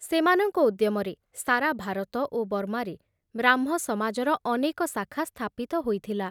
ସେମାନଙ୍କ ଉଦ୍ୟମରେ ସାରା ଭାରତ ଓ ବର୍ମାରେ ବ୍ରାହ୍ମ ସମାଜର ଅନେକ ଶାଖା ସ୍ଥାପିତ ହୋଇଥିଲା।